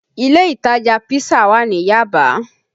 Ilé ìtajà pisa wà ní Yaba